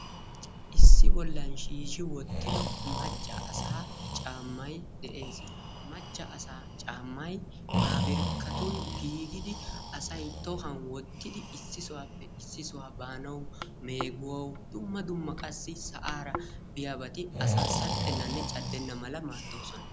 Issi bollan shiishshi wittido macca asaa caammayi de"es. Ha macca asaa caammayi paapirkkatun giigidi asayi tohuwan wottidi issi sohuwappe issi sohuwa baanawu meeguwawu dumma dumma sa"aara biyabati asaa saxxennanne caddenna mala maaddoosona.